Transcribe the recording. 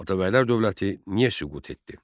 Atabəylər dövləti niyə süqut etdi?